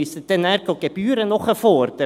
Müssen Sie nachher Gebühren nachfordern?